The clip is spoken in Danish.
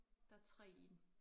Der 3 i en